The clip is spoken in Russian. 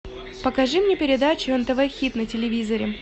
покажи мне передачу нтв хит на телевизоре